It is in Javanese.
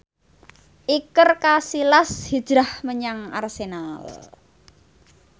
Iker Casillas hijrah menyang Arsenal